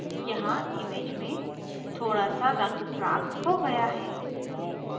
यहाँ image में थोड़ा सा रंग प्राप्त हो गया है